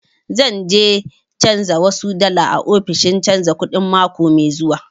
Zan je canja wasu dala a ofishin canja kuɗi mako mai zuwa